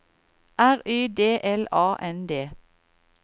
R Y D L A N D